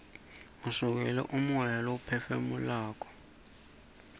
siuikele umoya leiwuphefu nulako